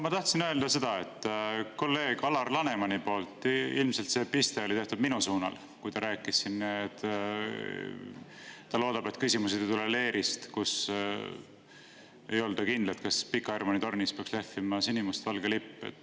Ma tahtsin öelda seda, et kolleeg Alar Lanemani piste oli tehtud ilmselt minu suunas, kui ta rääkis sellest, et ta loodab, et küsimused ei tule leerist, kus ei olda kindlad, kas Pika Hermanni tornis peaks lehvima sinimustvalge lipp.